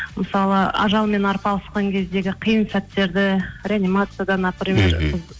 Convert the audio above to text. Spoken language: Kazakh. мысалы ажалмен арпалысқан кездегі қиын сәттерді реанимацияда